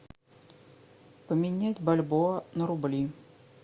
поменять бальбоа на рубли